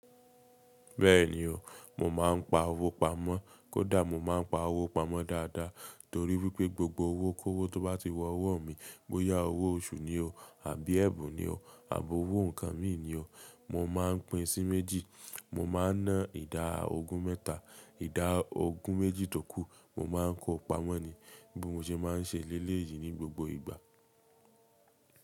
Bẹ́ẹ̀ni o, mo máa ń pa owó pamọ́. Kódà mo máa ń pa owó pamọ́ dáadáa torí wípé gbogbo owó kówó tó bá ti wọ ọwọ́ mi, bóyá owó oṣù ni o àbí ẹ̀bùn ni o àbí owó nǹkan mí ni o, mo máa ń pín sí méjì. Mo ma ń ná ìdá ogún mẹ́ta, ìdá ogún méjì tókù, mo má a ń kó pamọ́ ni. Bí mo ṣe máa ń ṣe lélè yìí ní gbogbo ìgbà.